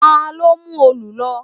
Ta ló mú òòlù lọ?